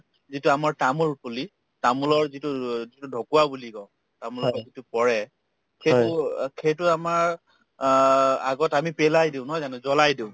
যিটো আমাৰ তামোল পুলি তামোলৰ যিটো ঢকোৱা বুলি কওঁ তামোলৰ যিটো পৰে সেইটো অ সেইটো আমাৰ অ আগত আমি পেলাই দিও নহয় জানো জ্বলাই দিও